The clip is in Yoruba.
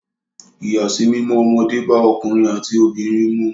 Ìyàsímímọ́ ọmọdé bá ọkùnrin àti obìnrin mu.